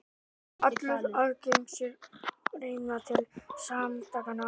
Mun allur aðgangseyrir renna til samtakanna